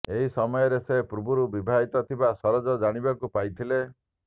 ଏହି ସମୟରେ ସେ ପୂର୍ବରୁ ବିବାହିତ ଥିବା ସରୋଜ ଜାଣିବାକୁ ପାଇଥିଲେ